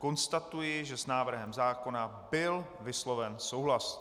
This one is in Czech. Konstatuji, že s návrhem zákona byl vysloven souhlas.